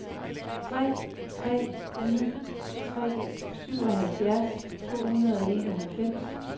tre tre ni tre syvoghalvfjerds to hundrede og enoghalvfems